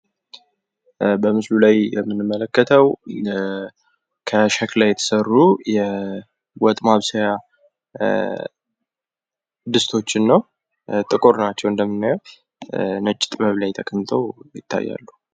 በምስሉ ላይ የምንመለከተው ከሸክላ የተሰሩ ወጥ ማብሰያ ድስቶችን ነው። ጥቁር ናቸው እንደምናየው ነጭ ጥበብ ላይ ተቀምጠው እናያለን።